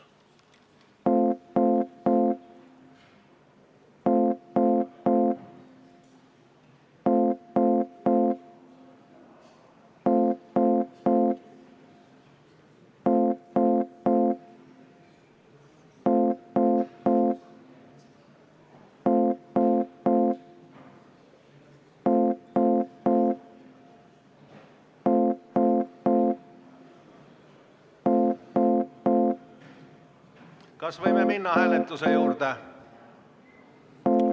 Kas võime minna hääletuse juurde?